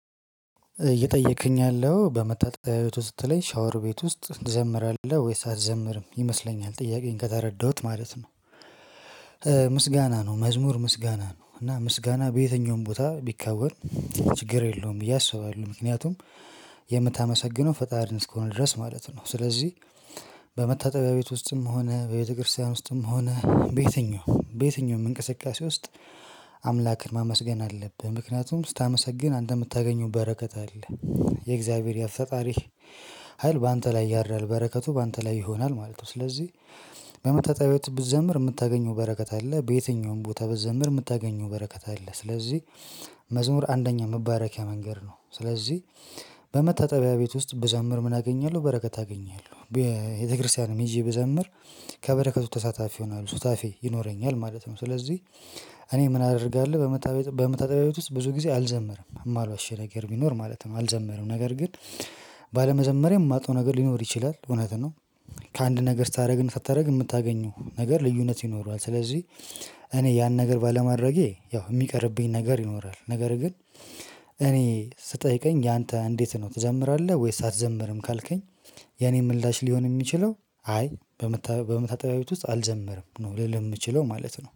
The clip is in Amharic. እየጠየቅክኝ ያለኸው በመታጠቢያ ቤት ውስጥ ስትለኝ ሻወር ቤት ውስጥ ትዘምራለህ ወይስ አትዘምርም? ይመስለኛል ጥያቄህን ከተረዳሁት ማለት ነው። ምስጋና ነው። መዝሙር ምስጋና ነው እና ምስጋና በየትኛውም ቦታ ቢከወን ችግር የለውም ብዬ አስባለሁ። ምክንያቱም የምታመሰግነው ፈጣሪን እስከሆነ ድረስ ማለት ነው። ስለዚህ በመታጠቢያ ቤት ውስጥም ሆነ በቤተክርስቲያን ውስጥም ሆነ በየትኛው በየትኛውም እንቅስቃሴ ውስጥ አምላክን ማመስገን አለብህ። ምክንያቱም ስታመሰግን አንተ የምታገኘው በረከት አለ። የእግዚያብሄር የፈጣሪህ ኸል በአንተ ላይ ያድራል። በረከቱ በአንተ ላይ ይሆናል ማለት ነው። ስለዚህ በመታጠቢያ ቤት ብትዘምር የምታገኘው በረከት አለ። በየትኛውም ቦታ ብትዘምር የምታገኘው በረከት አለ። ስለዚህ መዝሙር አንደኛ መባረኪያ መንገድ ነው። ስለዚህ በመታጠቢያ ቤት ውስጥ ብዘምር ምን አገኛለሁ? በረከት አገኛለሁ። በቤተክርስቲያንም ሂጄ ብዘምር ከበረከቱ ተሳታፊ እሆናለሁ። ሶታፌ ይኖረኛል ማለት ነው። ስለዚህ እኔ ምን አደርጋለሁ? በመታጠቢያ ቤት ውስጥ ብዙ ጊዜ አልዘመረም። የማልዋሽህ ነገር ቢኖር ማለት ነው። አልዘምርም ነገር ግን ባለመዘመሬ የማጣው ነገር ሊኖር ይችላል። እውነት ነው። ከአንድ ነገር ስታደርግ እና ሳታደርግ የምታገኘው ነገር ልዩነት ይኖረዋል። ስለዚህ እኔ ያን ነገር ባለማድረጌ ያው የሚቀርብኝ ነገር ይኖራል። ነገር ግን እኔ ስትጠይቀኝ ያንተ እንዴት ነው? ትዘምራለህ ወይስ አትዘምርም? ካልከኝ ያኔ ምላሽ ሊሆን የሚችለው አይ በመታጠቢያ ቤት ውስጥ አልዘመርም። ነው ልልህ የምችለው ማለት ነው።